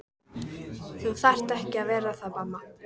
Þú þarft ekki að vera það mamma.